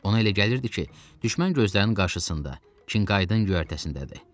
Ona elə gəlirdi ki, düşmən gözlərinin qarsısında, Kinkaydın göyərtəsindədir.